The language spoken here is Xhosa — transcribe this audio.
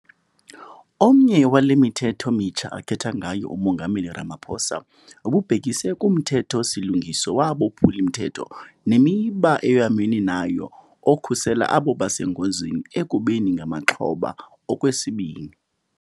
Omnye wale mithetho mitsha athetha ngayo uMongameli Ramaphosa ububhekise kuMthetho-silungiso waboPhuli-mthetho neMiba eyoyamene nayo okhusela abo basengozini ekubeni ngamaxhoba okwesibini.